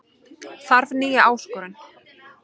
Þarf nýja áskorun